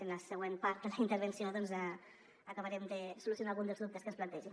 en la següent part de la intervenció doncs acabarem de solucionar algun dels dubtes que es plantegen